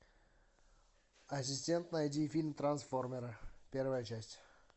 ассистент найди фильм трансформеры первая часть